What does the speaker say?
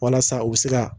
Walasa u bɛ se ka